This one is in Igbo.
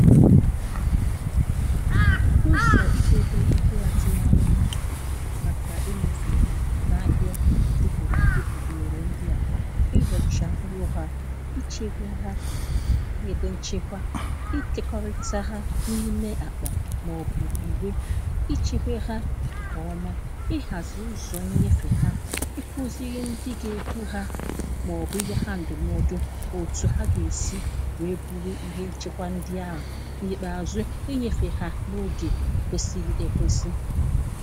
ụzọ̀ idėdė ihe atụmanyụ màkà inyefè ha n’ahịa depùrù àdepùgwerè ndị à ị rọ̀chà mkpụrụ̇ ha, ị chėgwè ha, ị edè nchekwa ikėkọrịta ha n’ime àkpà màọbụ̀ ìgbè i chekwe ha ǹkèọma ị hàzì ụzọ̀ nnyefè ha ị kuzirị ndị gà-ekwu ha màọbụ̀ inye ha ndum ọdụ̀ òtù ha gà-èsi wèe buru ihe nchekwa ndị ahụ̀ na ikpeazụ inyefe ha n'oge kwesịrị ekwesị.